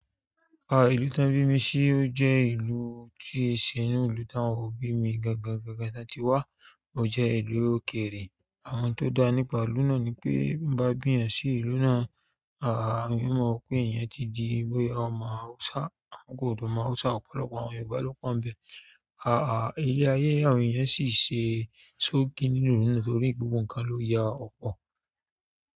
Àà ìlú tán bí mi ṣí ó jẹ́ ìlú tí í ṣe ínú ìlú tá wọn òbí mi gangan gangan tí wá ó jẹ́ ìlú òkèrè. Àwọn n tó dá nípa ìlú náà ni pé bí wọn bá bí yàn sí ìlú náà, àá à èèyàn o máa pé èèyàn ti di bóyá ọmọ Hausa. Àwọn kò dùn mọ̀ Hausa ọ̀pọ̀lọpọ̀ àwọn Yorùbá ló pọ́ n bẹ̀. Àà ilé ayé àwọn èèyàn sì ṣe tó n kí ní inú ìlú náà torí gbogbo nǹkan ló ya ọ̀pọ̀